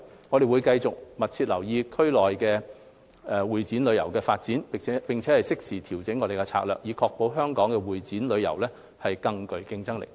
我們會繼續密切留意區內會展旅遊業的發展，並適時調整策略，確保香港會展旅遊業更具競爭力。